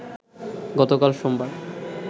গতকাল সোমবার